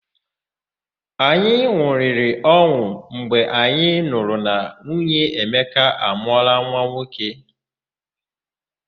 Anyị n̄ụrịrị ọn̄ụ mgbe anyị nụrụ na nwunye Emeka amụọla nwa nwoke.